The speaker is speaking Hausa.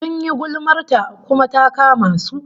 Sun yi gulmar ta, kuma ta kama su